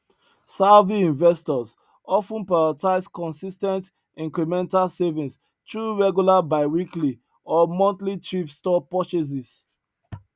savvy investors of ten prioritize consis ten t incremental savings through regular biweekly or monthly thrift store purchases